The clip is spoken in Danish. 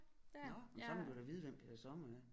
Nåh men så må du da vide hvem Peter Sommer er